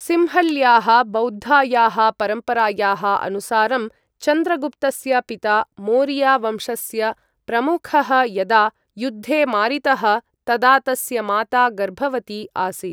सिंहल्याः बौद्धायाः परम्परायाः अनुसारं, चन्द्रगुप्तस्य पिता, मोरिया वंशस्य प्रमुखः, यदा युद्धे मारितः तदा तस्य माता गर्भवती आसीत्।